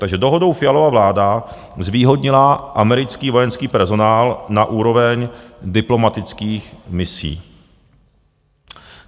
Takže dohodou Fialova vláda zvýhodnila americký vojenský personál na úroveň diplomatických misí.